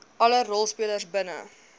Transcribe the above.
alle rolspelers binne